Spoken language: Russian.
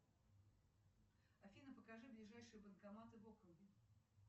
афина покажи ближайшие банкоматы в округе